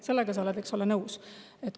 Sellega sa oled, eks ole, nõus.